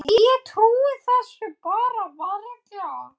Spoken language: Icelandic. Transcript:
Ég trúi þessu bara varla.